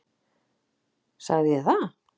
Sagði ég það?